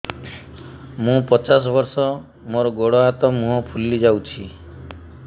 ମୁ ପଚାଶ ବର୍ଷ ମୋର ଗୋଡ ହାତ ମୁହଁ ଫୁଲି ଯାଉଛି